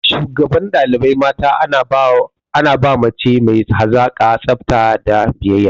Shugaban ɗalibai mata ana ba mace mai hazaƙa, tsafta da biyayya.